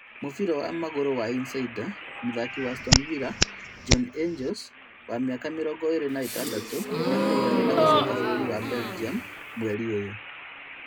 Mũbira wa magũru wa insider mũthaki wa Aston villa bjorn Engels wa mĩaka mĩrongo ĩrĩ na ĩtandatũ nĩakuruhanĩtio na gũcoka bũrũri wa Belgium mweri ũyũ